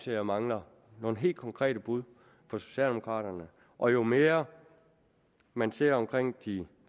jeg mangler nogle helt konkrete bud fra socialdemokraterne og jo mere man ser hvordan de